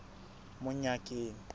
monyakeng